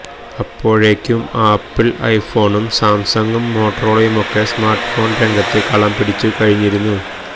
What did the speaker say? അപ്പോഴേക്കും ആപ്പിള് ഐഫോണും സാംസങും മോട്ടറോളയുമൊക്കെ സ്മാര്ട്ഫോണ് രംഗത്ത് കളം പിടിച്ചടക്കിക്കഴിഞ്ഞിരുന്നു